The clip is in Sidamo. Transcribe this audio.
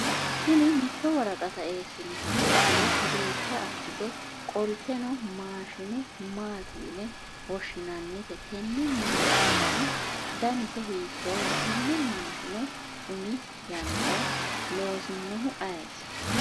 tini mitto woraqata eessiniha ikkiro duucha assite qoltanno maashine maati yine woshshinannite? tenne maashinehu danise hiittooho? tenne maashine umi yannara loosinohu ayeeti?